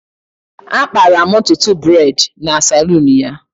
Akpara'm ntutu braid na saloon ya